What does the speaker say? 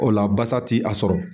O la basa ti a sɔrɔ.